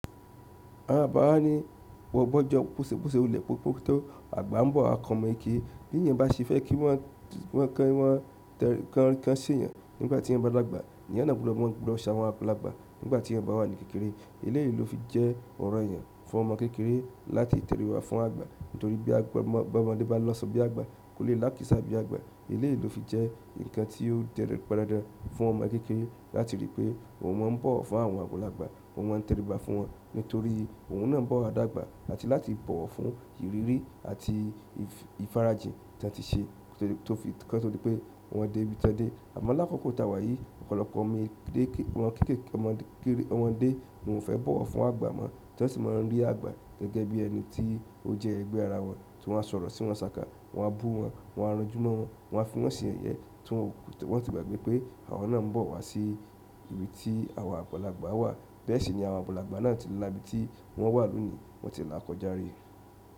Àwọn àgbá wá ní gbógbo bọ́se wulé ko pe tó àgbà ń bọ̀ wa kan oọ́mọ kekẹre. Bí èèyàn bá ṣe fẹ́ kí wọ́n se èèyàn nígbà tí eyan bá dàgbà, èèyàn ná gbọ́dọ̀ maa ṣe awọ́n àgbàlagbà nígbà tí eyan bá wà ní kékeré. Ilé yìí ló fi jẹ́ ọ̀ranyàn fún ọmọ kékeré láti tẹ̀rí ba fún àgbà, torí bí ọmọdé bá lasọ bí àgbà kò lè lákìsa bí àgba. Ilé yìí tó fi jẹ́ nǹkan tí ó je-- pan dandan fún ọmọ kékeré láti rí pé òun máa ń bọ̀ wọ́ fún àwọn àgbàlagbà, òun máa ń tẹ̀ríba fún wọn, nítorí òun náà bọ́ wà dàgbà áti láti bọ̀ wọ́ fún ìrírí àti ìfarajìn tí won ti ṣe, ko to dí pé wọn dé ibi tiwon dẹ̀. Àmọ lákòkò tá wá yìí ọ̀pọ̀lọpọ̀ ọmọdé ní wọ́n o fẹ́ bọ̀wọ́ fún àgbà mọ́, tí wọ́n sì máa ń rí àgbà gẹ́gẹ́ bí ẹni tí ó jẹ́ ẹgbẹ́ ara wọn, tí wọ́n á sọ̀rọ̀ sí wọn ṣáka, wọ́n á bú wọn, wọ́n á ranjúmọ́ wọn, wọ́n á fi wọn se yẹ̀yẹ tí wọn sì gbàgbẹ́ pé àwọn náà ń bọ̀ wá sí ibi tí àwọn àgbàlagbà wà. Bẹ́ẹ̀ sì ni àwọn àgbàlagbà náà ti lá ibi tí wọ́n wà lónìí, wọ́n ti lá kọjá rí.